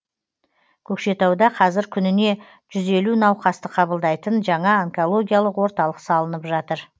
көкшетауда қазір күніне жүз елу науқасты қабылдайтын жаңа онкологиялық орталық салынып жатыр